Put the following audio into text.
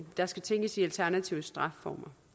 der skal tænkes i alternative straffeformer